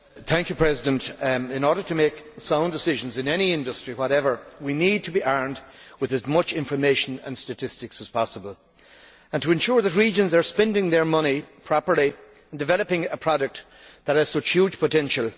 Mr President, in order to make sound decisions in any industry whatever, we need to be armed with as much in the way of information and statistics as possible and to ensure that regions are spending their money properly in developing a product that has such huge potential.